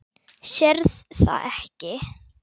Sérð það ekki.